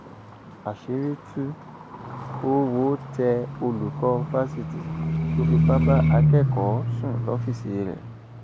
àṣírí tú owó tẹ olùkọ fásitì tó fipá bá akẹkọọ sùn lọfíìsì rẹ